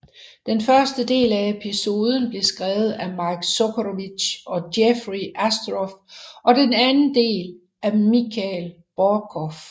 Den første del af episoden blev skrevet af Mike Sokowitz og Jeffrey Astrof og den anden del af Michael Borkow